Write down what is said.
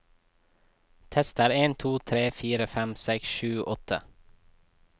Tester en to tre fire fem seks sju åtte